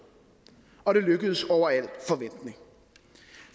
og det lykkedes over al forventning